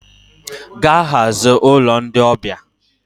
Gaa hazie ụlọ ndị ọbịa!